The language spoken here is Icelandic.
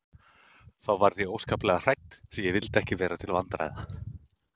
Þá varð ég óskaplega hrædd því ekki vildi ég vera til vandræða.